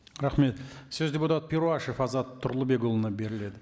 рахмет сөз депутат перуашев азат тұрлыбекұлына беріледі